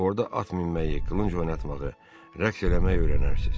Orada at minməyi, qılınc oynatmağı, rəqs eləməyi öyrənərsiz.